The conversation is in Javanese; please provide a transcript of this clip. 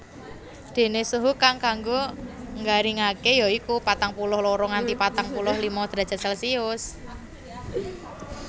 Déné suhu kang kanggo nggaringaké ya iku patang puluh loro nganti patang puluh lima drajat Celcius